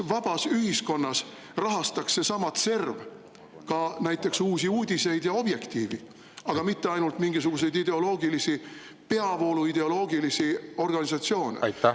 Vabas ühiskonnas rahastaks seesama CERV ka näiteks Uusi Uudiseid ja Objektiivi, mitte ainult mingisuguseid peavoolu ideoloogilisi organisatsioone.